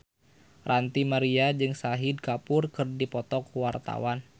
Ranty Maria jeung Shahid Kapoor keur dipoto ku wartawan